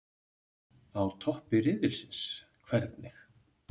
Á toppi riðilsins- hvernig?